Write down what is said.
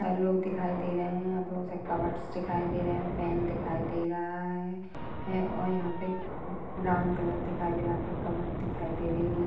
लोग दिखाई दे रहे हैं यहाँ बहोत से कपबोर्ड्स दिखाई दे रहे हैं फैन दिखाई दे रहा है है और यहाँ पे ब्राउन कलर दिखाई दे रहा है यहाँ पे कपबोर्ड्स दिखाई दे रही है नि --